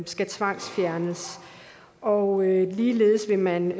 skal tvangsfjernes og ligeledes vil man